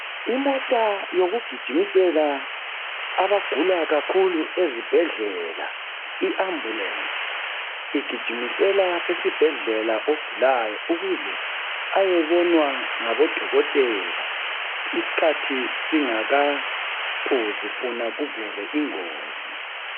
Imota yokugijimisela abagula kakhulu esibhedlela iambulensi. Igijimesela esibhedlela ogulayo ukuze ayebonwa ngabodokotela isikhathi singakaphuzi funa kuvele ingozi.